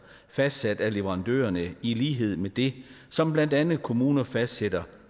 fastsat af leverandørerne i lighed med det som blandt andet kommuner fastsætter